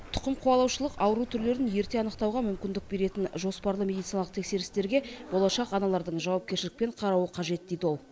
тұқымқуалаушылық ауру түрлерін ерте анықтауға мүмкіндік беретін жоспарлы медициналық тексерістерге болашақ аналардың жауапкершілікпен қарауы қажет дейді ол